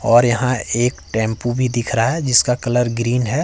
और यहां एक टेंपो भी दिख रहा है जिसका कलर ग्रीन है।